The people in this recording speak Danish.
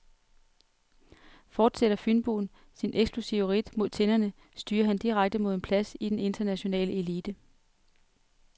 Fortsætter fynboen sit eksplosive ridt mod tinderne, styrer han direkte mod en plads i den internationale elite.